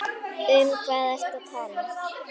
Um hvað ertu að tala?